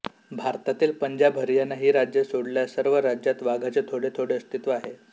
भारतातील पंजाब हरियाणा ही राज्ये सोडल्यास सर्व राज्यात वाघाचे थोडे थोडे अस्तित्व आहे